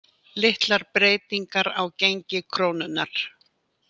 Litlar breytingar á gengi krónunnar